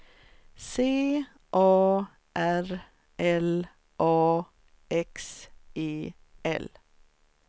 C A R L A X E L